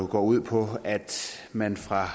går ud på at man fra